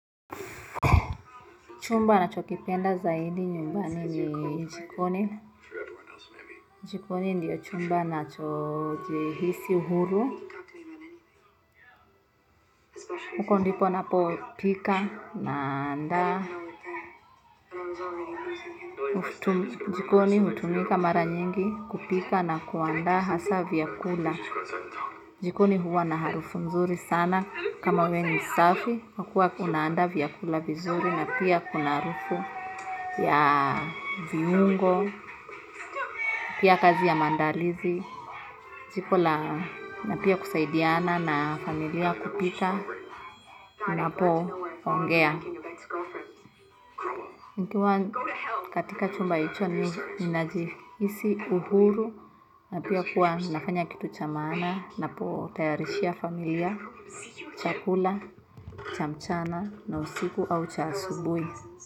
Chumba nachokipenda zaidi ni jikoni, jikoni ndio chumba nacho jihisi huru. Huko ndipo napo pika naanda. Jikoni hutumika mara nyingi kupika na kuandaa hasa vyakula. Jikoni huwa na harufu nzuri sana kama we ni safi. Kwa kuwa kuna andaa vyakula vizuri na pia kuna harufu ya viungo, pia kazi ya mandalizi. Na pia kusaidiana na familia kupika na po ongea nikiwa katika chumba hicho ninajiisi uhuru na pia kuwa nafanya kitu cha maana napo tayarishia familia chakula, cha mchana na usiku au cha asubuhi.